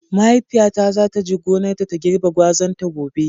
Mahaifiyata za ta je gonarta ta girbe gwazan ta gobe.